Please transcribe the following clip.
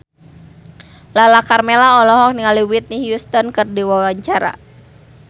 Lala Karmela olohok ningali Whitney Houston keur diwawancara